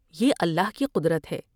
یہ اللہ کی قدرت ہے ۔